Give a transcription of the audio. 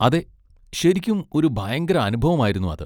അതെ, ശരിക്കും ഒരു ഭയങ്കര അനുഭവം ആയിരുന്നു അത്.